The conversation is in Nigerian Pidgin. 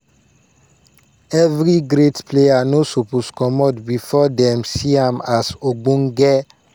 "evri great player no suppose comot bifor dem see am as ogbonge."